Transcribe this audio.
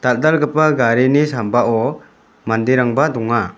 dal·dalgipa garini sambao manderangba donga.